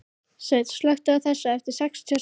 Sveinn, slökktu á þessu eftir sextíu og sex mínútur.